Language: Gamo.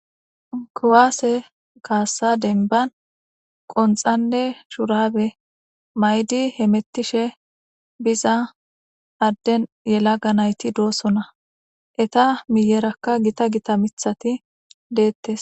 Kuwase kasa demba qonxanne shubare mayidi biza yelaga nayti betosona eta miyeraka Gita Gita mithati deetes